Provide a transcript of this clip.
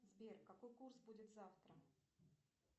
сбер какой курс будет завтра